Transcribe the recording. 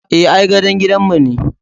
Eh, ai gadon gidanmu ne.